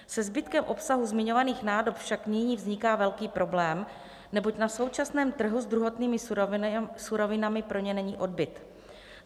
Se zbytkem obsahu zmiňovaných nádob však nyní vzniká velký problém, neboť na současném trhu s druhotnými surovinami pro ně není odbyt.